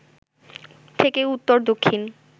থেকে উত্তর দক্ষিণ